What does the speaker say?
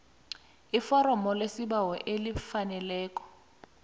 iforomo lesibawo elifaneleko